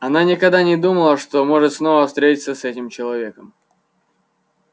она никогда не думала что может снова встретиться с этим человеком